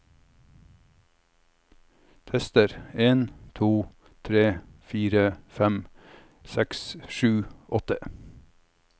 Tester en to tre fire fem seks sju åtte